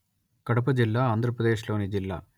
కడప జిల్లా ఆంధ్రప్రదేశ్ లోని జిల్లా